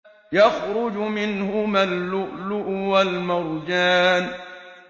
يَخْرُجُ مِنْهُمَا اللُّؤْلُؤُ وَالْمَرْجَانُ